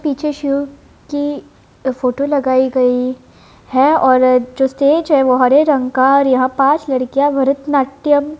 पीछे शिव की फोटो लगाई गई है और जो स्टेज है वो हरे रंग का और यहाँ पाँच लड़कियां भरतनाट्यम --